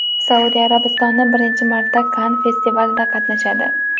Saudiya Arabistoni birinchi marta Kann festivalida qatnashadi.